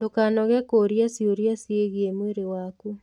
Ndũkanoge kũũria ciũria ciĩgiĩ mwĩrĩ waku.